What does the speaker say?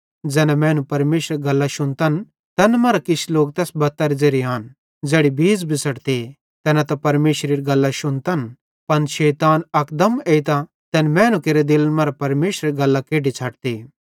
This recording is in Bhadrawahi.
ज़ैना मैनू परमेशरेरी गल्लां शुन्तन तैन मरां किछ लोक तैस बत्तेरे ज़ेरे आन ज़ेड़ी बीज़ बिछ़ड़ते तैना त परमेशरेरी गल्लां शुन्तन पन शैतान अकदम एइतां तैन मैनू केरे दिले मरां परमेशरेरी गल्लां केड्डी छ़ड्ते